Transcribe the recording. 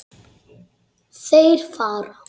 Þeir fara.